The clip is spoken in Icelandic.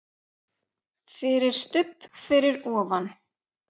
FYRIR STUBB fyrir ofan.